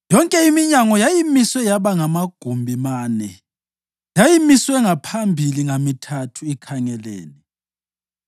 Yonke iminyango yayimiswe yaba magumbi mane; yayimiswe ngaphambili ngamithathu, ikhangelene.